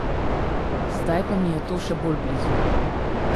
Zdaj pa mi je to še bolj blizu.